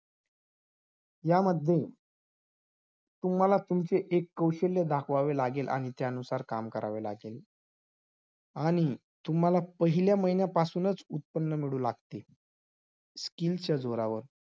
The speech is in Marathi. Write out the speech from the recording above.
या विचारातून त्यांनी दहा ऑगस्ट एकोणीशे अठेचाळीस रोजी अणुऊर्जा आयोगाची स्थापना केली आयोगाचे पहिले अध्यक्ष म्हणून डॉक्टर होमी बाबा यांचे नियुक्ती झाली